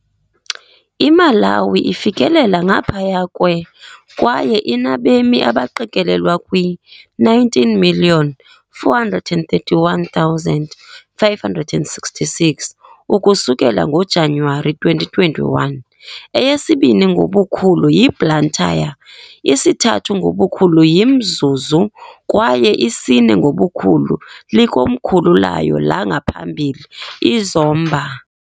IMalawi ifikelela ngaphaya kwe kwaye inabemi abaqikelelwa kwi-19,431,566 ukusukela ngoJanuwari 2021. Eyesibini ngobukhulu yiBlantyre, isithathu ngobukhulu yiMzuzu kwaye isine ngobukhulu likomkhulu layo langaphambili, iZomba .